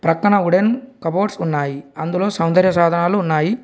పక్కన wooden cupboards ఉన్నాయి అందులో సౌందర్య సాధనాలు ఉన్నాయి.